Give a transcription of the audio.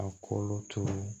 A kolo tugu